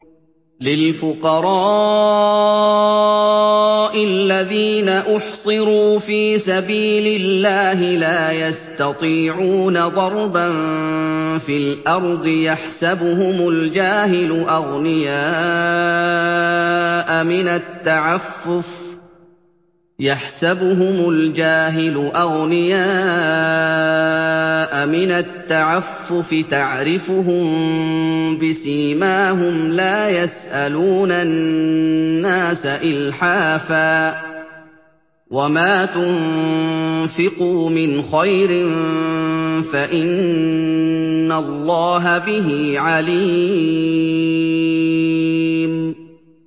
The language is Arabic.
لِلْفُقَرَاءِ الَّذِينَ أُحْصِرُوا فِي سَبِيلِ اللَّهِ لَا يَسْتَطِيعُونَ ضَرْبًا فِي الْأَرْضِ يَحْسَبُهُمُ الْجَاهِلُ أَغْنِيَاءَ مِنَ التَّعَفُّفِ تَعْرِفُهُم بِسِيمَاهُمْ لَا يَسْأَلُونَ النَّاسَ إِلْحَافًا ۗ وَمَا تُنفِقُوا مِنْ خَيْرٍ فَإِنَّ اللَّهَ بِهِ عَلِيمٌ